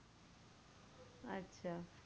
আচ্ছা।